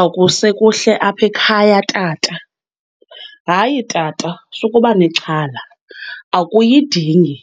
Akusekuhle apha ekhaya tata. Hayi tata, sukuba nexhala akuyidingi